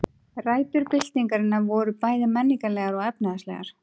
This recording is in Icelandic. Rætur byltingarinnar voru bæði menningarlegar og efnahagslegar.